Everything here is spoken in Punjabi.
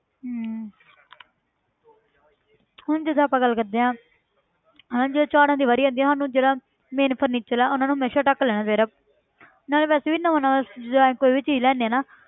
ਹਮ ਹੁਣ ਜਿੱਦਾਂ ਆਪਾਂ ਗੱਲ ਕਰਦੇ ਹਾਂ ਹਨਾ ਜਦੋਂ ਝਾੜਨ ਦੀ ਵਾਰੀ ਆਉਂਦੀ ਹੈ ਸਾਨੂੰ ਜਿਹੜਾ main furniture ਆ ਉਹਨਾਂ ਨੂੰ ਹਮੇਸ਼ਾ ਢੱਕ ਲੈਣਾ ਚਾਹੀਦਾ ਨਾਲੇ ਵੈਸੇ ਵੀ ਨਾ ਹੁਣ ਜਿੱਦਾਂ ਅਸੀਂ ਕੋਈ ਵੀ ਚੀਜ਼ ਲੈਂਦੇ ਹਾਂ ਨਾ